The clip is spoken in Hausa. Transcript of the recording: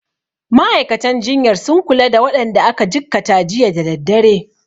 Ma'aikatan jinyar sun kula da waɗanda aka jikkata jiya da daddare.